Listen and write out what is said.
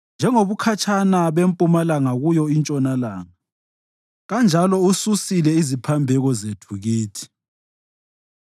njengobukhatshana bempumalanga kuyo intshonalanga kanjalo ususile iziphambeko zethu kithi.